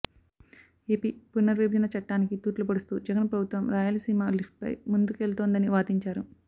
AP పునర్విభజన చట్టానికి తూట్లు పొడుస్తూ జగన్ ప్రభుత్వం రాయలసీమ లిఫ్ట్పై ముందుకెళ్తోందని వాదించారు